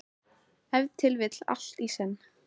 Ef til vill allt í senn.